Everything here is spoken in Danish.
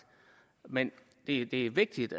men det er vigtigt